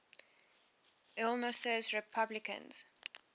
illinois republicans